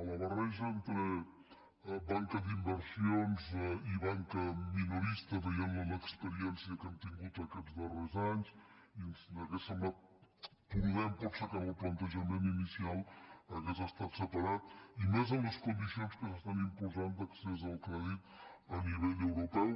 a la barreja entre banca d’inversions i banca minorista veient l’experiència que hem tingut aquests darrers anys i ens hauria semblat prudent potser que en el plantejament inicial hagués estat separat i més en les condicions que s’estan imposant d’accés al crèdit a nivell europeu